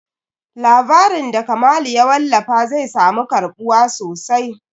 Labarin da Kamalu ya wallafa zai samu karɓuwa sosai.